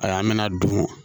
Ayi an bɛna don